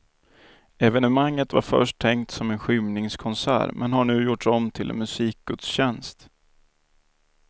Evenemanget var först tänkt som en skymningskonsert men har nu gjorts om till en musikgudstjänst.